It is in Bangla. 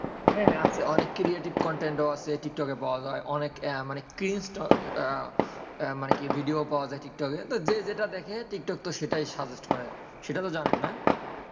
হ্যাঁ হ্যাঁ অনেক creative content আছে টিক টক এ পাওয়া যায় অনেক ভিডিও পাওয়া যায় টিক টক এ যেটা দেখে টিকটক তো সেটাই suggest করে সেটা তো জানেন?